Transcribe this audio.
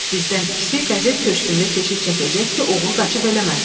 Bizdən ikisi qəzet köşkündə keşiy çəkəcək ki, oğru qaçıb eləməsin.